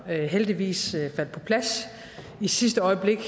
heldigvis faldt på plads i sidste øjeblik